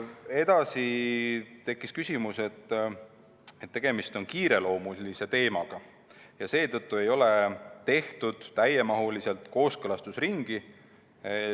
Edasi tekkis küsimus, et tegemist on kiireloomulise teemaga ja seetõttu ei ole tehtud täiemahulist kooskõlastusringi.